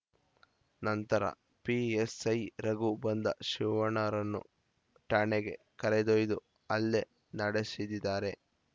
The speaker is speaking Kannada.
ನಂತರ ಪಿಎಸ್‌ಐ ರಘು ಬಂದ ಶಿವಣ್ಣರನ್ನು ಠಾಣೆಗೆ ಕರೆದೊಯ್ದು ಹಲ್ಲೆ ನಡೆಸಿದಿದಾರೆ